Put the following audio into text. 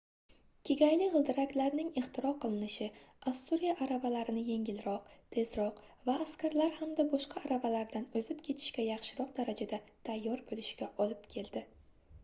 kegayli gʻildiraklarning ixtiro qilinishi ossuriya aravalarini yengilroq tezroq va askarlar hamda boshqa aravalardan oʻzib ketishga yaxshiroq darajada tayyor boʻlishiga olib keldi